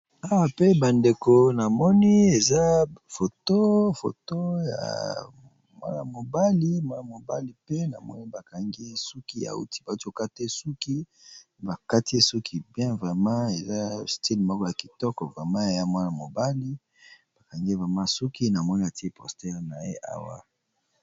Awa pe ba ndeko na moni eza photo ya mwana mobali, mwana mobali pe na moni ba kangi ye suki ya wuti bazo kata suki e bakatie suki bien vrema eza stylle moko ya kitoko vrema ya mwana mobali bakangie vrema suki na moni atie postere na ye awa